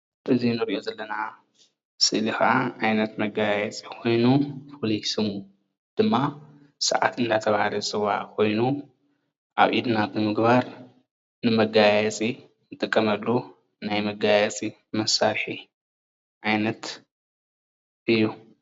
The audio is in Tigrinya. እዚ እንሪኦ ዘለና ስእሊ ከዓ ዓይነት መጋየፂ ኮይኑ ፍሉይ ስሙ ድማ ሰዓት እናተባሃለ ዝፅዋዕ ኮይኑ ኣብ ኢድና ብምግባር ንመጋያየፂ እንጥቀመሉ ናይ መጋያየፂ መሳርሒ ዓይነት እዩ፡፡